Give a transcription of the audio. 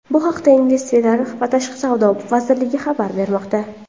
Bu haqda Investitsiyalar va tashqi savdo vazirligi xabar bermoqda .